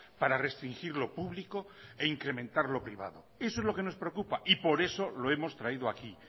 para restringir lo público e incrementar lo privado eso es lo que nos preocupa y por eso lo hemos traído aquí